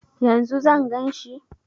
Yanzu zan gan shi?